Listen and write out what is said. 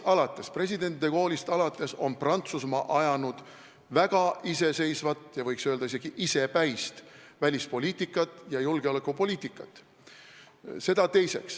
President de Gaulle'ist alates on Prantsusmaa ajanud väga iseseisvat ja võiks öelda, et isegi isepäist välispoliitikat ja julgeolekupoliitikat.